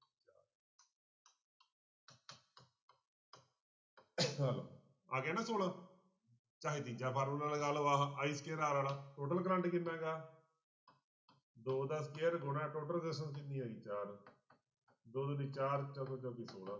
ਆ ਲਓ ਆ ਗਿਆ ਨਾ ਛੋਲਾ ਚਾਹੇ ਤੀਜਾ ਫਾਰਮੁਲਾ ਲਗਾ ਲਓ ਆਹ i square r ਵਾਲਾ total ਕਰੰਟ ਕਿੰਨਾ ਗਾ ਦੋ ਦਾ square ਗੁਣਾ total resistance ਕਿੰਨੀ ਹੈਗੀ ਚਾਰ, ਦੋ ਦੂਣੀ ਚਾਰ, ਚੋਕਮ ਚੋਕੀ ਛੋਲਾਂ